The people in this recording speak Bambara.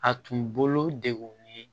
A tun bolo de